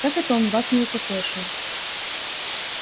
как он это вас не укокошил